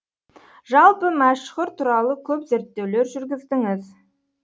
жалпы мәшһүр туралы көп зерттеулер жүргіздіңіз